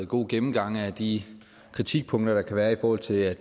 god gennemgang af de kritikpunkter der kan være i forhold til at